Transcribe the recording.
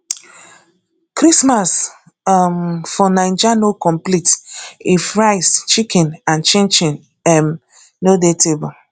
christmas um for naija no complete if rice chicken and chinchin um no dey table